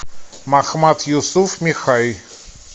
махмат юсуф михай